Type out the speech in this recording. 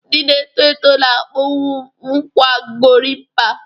Ndị na-eto eto na akpu kwa Gorimpa